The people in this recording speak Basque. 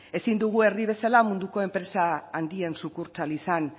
ezin dugu herri bezala munduko enpresa handien sukurtsal izan